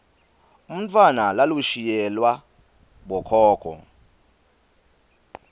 umntfwana lalushiyelwa bokhokho